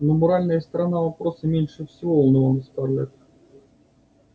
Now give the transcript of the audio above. но моральная сторона вопроса меньше всего волновала скарлетт